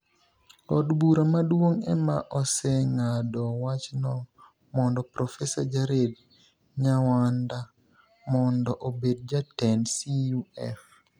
Od Bura Maduonig ' e ma osenig'ado wachno monido Profesa Jared niyawanida monido obed jatend CUF.